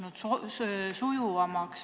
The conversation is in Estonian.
Kas see on sujuvamaks muutunud?